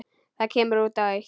Það kemur út á eitt.